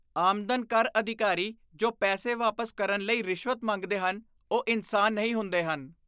ਆਮਦਨ ਕਰ ਅਧਿਕਾਰੀ ਜੋ ਪੈਸੇ ਵਾਪਸ ਕਰਨ ਲਈ ਰਿਸ਼ਵਤ ਮੰਗਦੇ ਹਨ, ਉਹ ਇਨਸਾਨ ਨਹੀਂ ਹੁੰਦੇ ਹਨ।